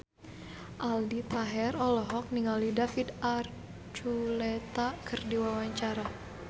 Aldi Taher olohok ningali David Archuletta keur diwawancara